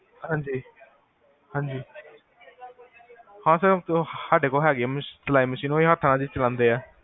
ਹਾਂਜੀ ਹਾਂਜੀ, ਹਾਂ ਸਰ ਸਾਡੇ ਕੋਲ ਹੈਗੇ ਆ ਸਿਲਾਈ ਮਸ਼ੀਨ, ਓਹੀ ਚਲਾਂਦੇ ਆ